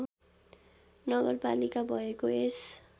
नगरपालिका भएको यस